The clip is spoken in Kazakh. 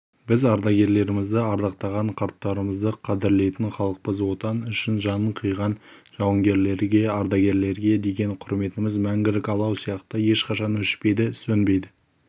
біз ардагерлерімізді ардақтаған қарттарымызды қадірлейтін халықпыз отан үшін жанын қиған жауынгерлерге ардагерлерге деген құрметіміз мәңгілік алау сияқты ешқашан өшпейді сөнбейді